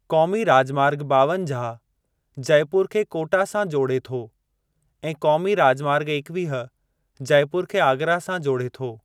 क़ोमी राजमार्ग ॿावंजाह जयपुर खे कोटा सां जोड़े थो ऐं क़ोमी राजमार्ग एकवीह जयपुर खे आगरा सां जोड़े थो।